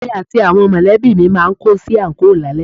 Èmi àti àwọn mọ̀lẹ́bí mi máa kó sí àńkò lálẹ́